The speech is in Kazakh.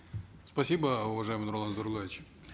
спасибо уважаемый нурлан зайроллаевич